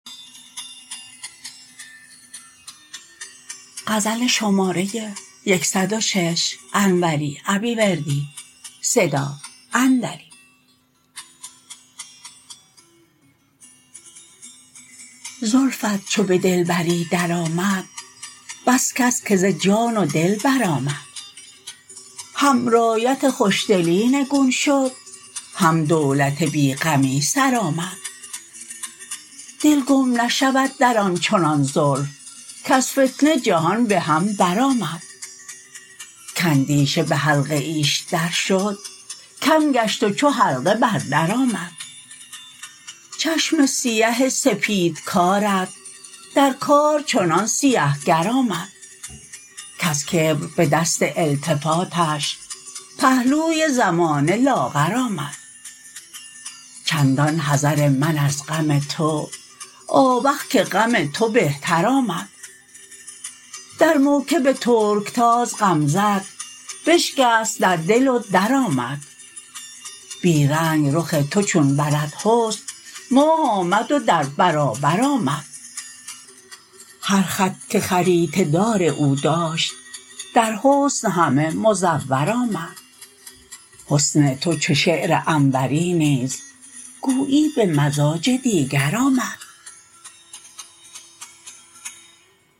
زلفت چو به دلبری درآمد بس کس که ز جان و دل برآمد هم رایت خوشدلی نگون شد هم دولت بی غمی سر آمد دل گم نشود در آنچنان زلف کز فتنه جهان به هم برآمد کاندیشه به حلقه ایش درشد کم گشت و چو حلقه بر در آمد چشم سیه سپید کارت در کار چنان سیه گر آمد کز کبر به دست التفاتش پهلوی زمانه لاغر آمد چندان حذر من از غم تو آوخ که غم تو بهتر آمد در موکب ترکتاز غمزه ت بشکست در دل و درآمد بی رنگ رخ تو چون برد حسن ماه آمد و در برابر آمد هر خط که خریطه دار او داشت در حسن همه مزور آمد حسن تو چو شعر انوری نیز گویی به مزاج دیگر آمد